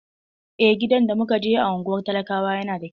Eh, gidan da muka je a unguwar talakawa yana da kyau.